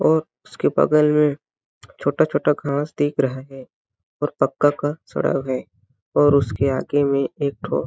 और उसके बगल में छोटा-छोटा घास देख रहा है और पक्का का सड़क है और उसके आगे में एक ठोस --